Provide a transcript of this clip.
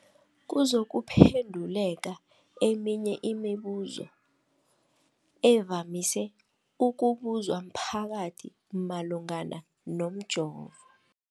kuzokuphe nduleka eminye yemibu zo evamise ukubuzwa mphakathi malungana nomjovo.